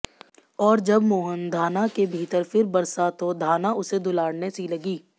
और जब मोहन धाना के भीतर फिर बरसा तो धाना उसे दुलारने सी लगी